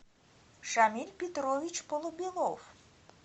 шамиль петрович полубелов